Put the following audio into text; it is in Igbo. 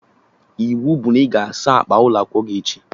Ịwu bụ na ị ga-asa akpa akwụkwọ gị echi!